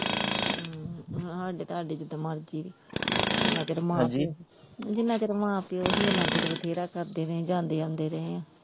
ਹਮ ਹਾਡੇ ਤਾਡੇ ਚ ਜਿੰਨਾ ਚਿਰ ਹਾਂਜੀ, ਜਿੰਨਾ ਚਿਰ ਮਾਂ ਪਿਓ ਹੀ ਓਨਾ ਚਿਰ ਬਥੇਰਾ ਕਰਦੇ ਰਹੇ ਜਾਂਦੇ ਆਉਂਦੇ ਰਹੇ ਆ।